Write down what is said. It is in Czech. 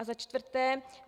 A za čtvrté.